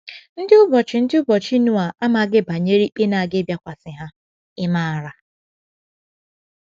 Ndị ụbọchị Ndị ụbọchị Noa amaghị banyere ikpe na - aga ịbịakwasị ha — ị̀ maara?